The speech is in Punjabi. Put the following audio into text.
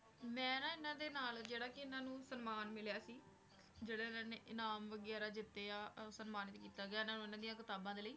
ਮੈਂ ਨਾ ਇਹਨਾਂ ਦੇ ਨਾਲ ਜਿਹੜਾ ਕਿ ਇਹਨਾਂ ਨੂੰ ਸਨਮਾਨ ਮਿਲਿਆ ਸੀ ਜਿਹੜੇ ਇਹਨਾਂ ਨੇ ਇਨਾਮ ਵਗ਼ੈਰਾ ਜਿੱਤੇ ਆ ਅਹ ਸਨਮਾਨਿਤ ਕੀਤਾ ਗਿਆ ਇਹਨਾਂ ਨੂੰ, ਇਹਨਾਂ ਦੀਆਂ ਕਿਤਾਬਾਂ ਦੇ ਲਈ।